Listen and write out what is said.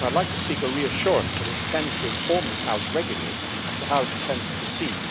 I would like to seek a reassurance that it intends to inform this House regularly as to how it will proceed